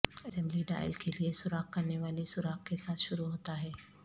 assembly dial کے لئے سوراخ کرنے والی سوراخ کے ساتھ شروع ہوتا ہے